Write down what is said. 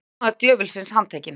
Lögmaður djöfulsins handtekinn